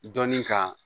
Dɔnni ka